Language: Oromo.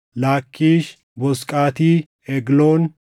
Laakkiish, Boozqaati, Egloon,